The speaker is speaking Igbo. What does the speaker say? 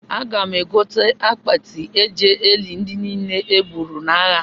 Aga m egote akpati a ga-eji lie ndị niile e gburu n'agha